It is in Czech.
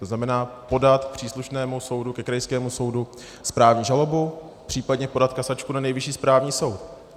To znamená podat příslušnému soudu, ke krajskému soudu, správní žalobu, případně podat kasačku na Nejvyšší správní soud.